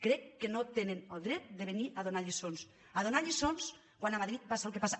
crec que no tenen el dret de venir a donar lliçons a donar lliçons quan a madrid passa el que passa